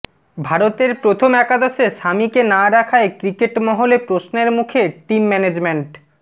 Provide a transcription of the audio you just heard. ভারতের প্রথম একাদশে শামিকে না রাখায় ক্রিকেট মহলে প্রশ্নের মুখে টিম ম্যানেজমেন্ট